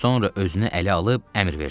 Sonra özünü ələ alıb əmr verdi.